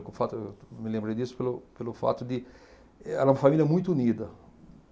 Eu me lembrei disso pelo pelo fato de... Era uma família muito unida.